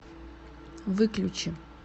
выключи